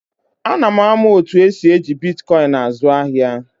A na m amụ otu esi eji Bịtkoin àzụ ahịa